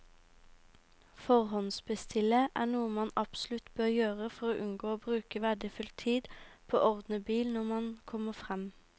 Forhåndsbestille er noe man absolutt bør gjøre for å unngå å bruke verdifull tid på å ordne bil når man kommer frem.